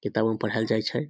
किताब में पढ़ाएल जाय छै।